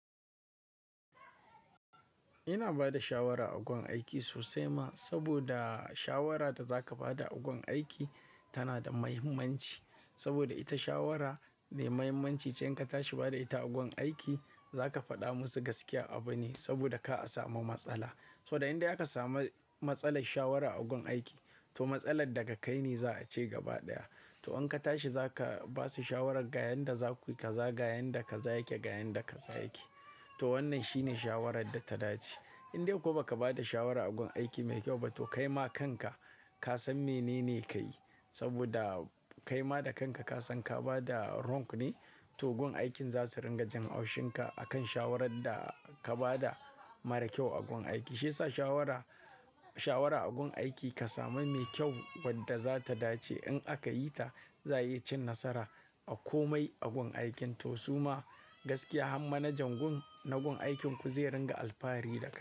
Ina ba da shawara a gun aiki sosai ma, saboda shawara da za ka ba da a gun aiki tana da mahimmanci. Saboda ita shawara me mahimmanci ce in ka tashi ba da ita a gun aiki za ka faɗa musu gaskiyar abu ne saboda ka a samu matsala. So da inda ya ka samu matsalar shawara a gun aiki, to matsalar da ka kai ne za a ce gaba ɗaya. To in ka tashi za ka ba su shawarar ga yanda za ku yi, ka za ga yanda ka za yake, ga yanda ka za yake. To wannan shine shawarar da ta dace. Indai ko ba ka ba da shawara a gun aiki mai kyau ba to kaima kanka ka san menene ka yi. Saboda kaima da kanka ka san ka ba da wrong ne, to gun aikin za su ringa jan haushin ka akan shawarar da ka ba da mara kyau a gun aiki. Shi yasa shawara, shawara a gun aiki ka sami mai kyau wadda za ta dace in aka yi ta za yi cin nasara a komai a gun aikin. To suma gaskiya har manajan gun na gun aikinku zai ringa alfahari da kai.